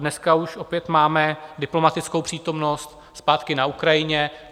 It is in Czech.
Dneska už opět máme diplomatickou přítomnost zpátky na Ukrajině.